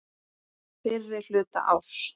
Fyrri hluta árs.